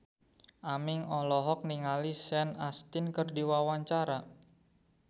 Aming olohok ningali Sean Astin keur diwawancara